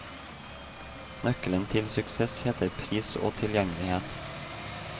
Nøkkelen til suksess heter pris og tilgjengelighet.